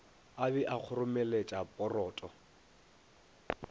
a be a kgoromeletša poroto